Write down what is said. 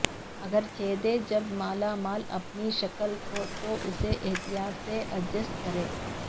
اگر چھیدے جب مالا مال اپنی شکل کھو تو اسے احتیاط سے ایڈجسٹ کریں